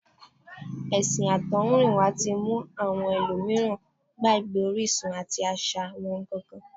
Ẹ̀sìn àtọ̀húnrìnwá tí mú àwọn ẹlòmíràn gbàgbé orísun àti àṣà wọn gangan